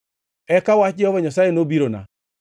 Eka wach Jehova Nyasaye nobirona: